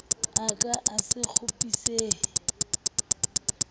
a ka a se kgopisehe